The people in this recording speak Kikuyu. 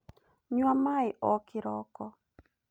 Nyua maĩ o kĩroko